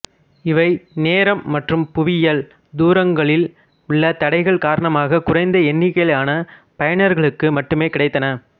இவை நேரம் மற்றும் புவியியல் தூரங்களில் உள்ள தடைகள் காரணமாகக் குறைந்த எண்ணிக்கையிலான பயனர்களுக்கு மட்டுமே கிடைத்தன